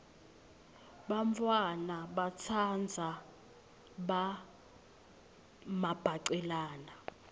bantfwana batsandza mabhacelana